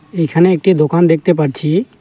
এখানে একটি দোকান দেখতে পাচ্ছি।